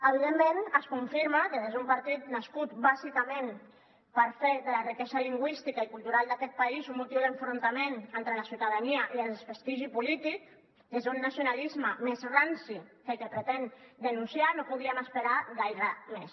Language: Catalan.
evidentment es confirma que des d’un partit nascut bàsicament per fer de la riquesa lingüística i cultural d’aquest país un motiu d’enfrontament entre la ciutadania i de desprestigi polític des d’un nacionalisme més ranci que el que pretén denunciar no podíem esperar gaire més